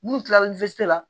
N'u kila la la